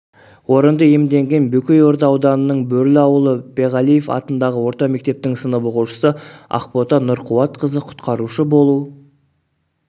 орынды иемденген бөкейорда ауданының бөрлі ауылы беғалиев атындағы орта мектептің сынып оқушысы ақбота нұрқуатқызы құтқарушы болу